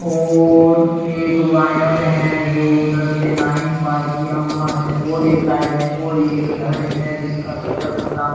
और एक वायर है जो उधर से लाइन पार किया हुआ है और एक साइड में और एक घर है जिसका शटर खुला --